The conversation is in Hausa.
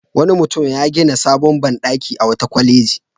Wani mutum ya gina sabon banɗaki a wata kwaleji.